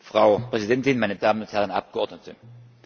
Frau Präsidentin, meine Damen und Herren Abgeordneten!